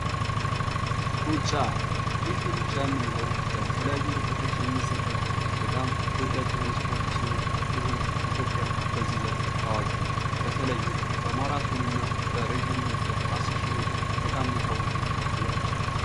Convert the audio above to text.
ሩጫ፦ ይህ ሩጫ የምንለው በተለያዩ ርቀቶች የሚዘጋጅ የስፖርት አይነት ሲሆን ይህም ኢትዮጵያ በዚህ ዘርፍ ታዋቂ ናት። በተለይም በማራቶንና ረጂም ርቀት 10 ሽህ ሜትር በጣም የታወቀች ሀገር ናት።